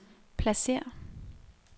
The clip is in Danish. pladsér